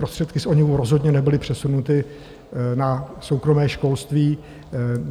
Prostředky z ONIV rozhodně nebyly přesunuty na soukromé školství.